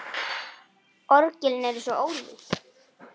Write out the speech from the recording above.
Orgelin eru svo ólík.